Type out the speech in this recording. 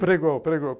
Pregou, pregou.